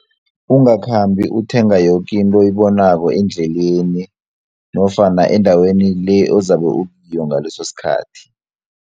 Ungakhambi uthenga yoke into oyibonako endleleni nofana endaweni le ozabe ukiyo ngaleso sikhathi.